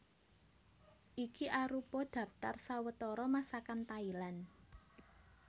Iki arupa dhaptar sawetara Masakan Thailand